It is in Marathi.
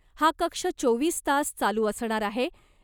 हा कक्ष चोवीस तास चालू असणार आहे .